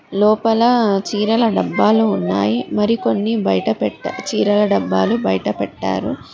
లోపల చీరల డబ్బాలు ఉన్నాయి మరి కొన్ని బయట చీరల డబ్బాలు బయట పెట్టారు.